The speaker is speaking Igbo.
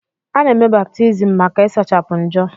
Ana-eme baptiizim maka ịsachapụ njọ.